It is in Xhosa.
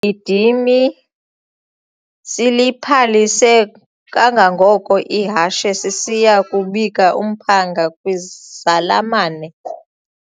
gidimi siliphalise kangangoko ihashe sisiya kubika umphanga kwizalamane.